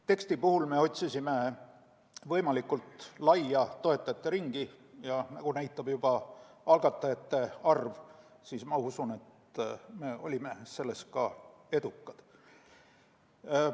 Teksti puhul me otsisime võimalikult laia toetajate ringi ja nagu näitab algatajate arv, siis ma usun, et olime selles edukad.